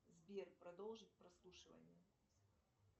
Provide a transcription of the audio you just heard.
сбер продолжить прослушивание